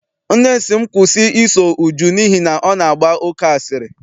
Nne m sị m kwụsị I so Uju n'ihi na ọ na-agba oke asịrị.